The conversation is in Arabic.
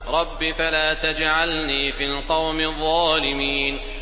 رَبِّ فَلَا تَجْعَلْنِي فِي الْقَوْمِ الظَّالِمِينَ